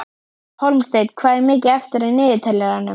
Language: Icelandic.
Hólmsteinn, hvað er mikið eftir af niðurteljaranum?